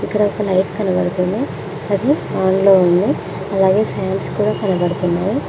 ఇక్కడ ఒక లైట్ కనపడుతుంది అది ఆన్ లో ఉంది అలాగే ఫ్యాన్స్ కూడా కనబడుతున్నాయ్.